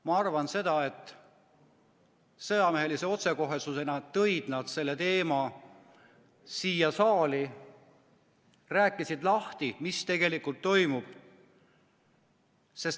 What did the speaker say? Ma arvan, et nad tõid selle teema sõjamehelise otsekohesusega siia saali ja rääkisid lahti, mis tegelikult toimub.